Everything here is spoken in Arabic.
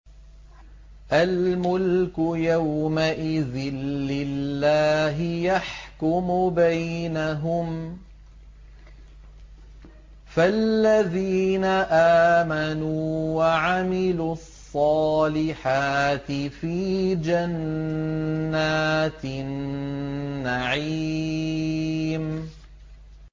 الْمُلْكُ يَوْمَئِذٍ لِّلَّهِ يَحْكُمُ بَيْنَهُمْ ۚ فَالَّذِينَ آمَنُوا وَعَمِلُوا الصَّالِحَاتِ فِي جَنَّاتِ النَّعِيمِ